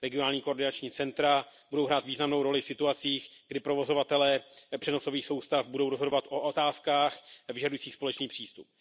Regionální koordinační centra budou hrát významnou roli v situacích, kdy provozovatelé přenosových soustav budou rozhodovat o otázkách vyžadující společný přístup.